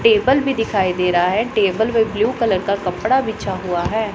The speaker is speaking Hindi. टेबल भी दिखाई दे रहा है टेबल में ब्लू कलर का कपड़ा बिछा हुआ है।